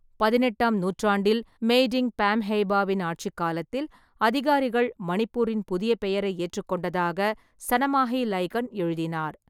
பதினெட்டாம் நூற்றாண்டில் மெய்டிங்கு பாம்ஹெய்பாவின் ஆட்சிக் காலத்தில் அதிகாரிகள் மணிப்பூரின் புதிய பெயரை ஏற்றுக்கொண்டதாக சனமாஹி லைகன் எழுதினார்.